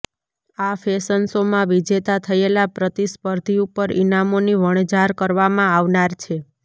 આ ફેશન શોમાં વિજેતા થયેલા પ્રતિસ્પર્ધી ઉપર ઇનામોની વણઝાર કરવામાં આવનાર છે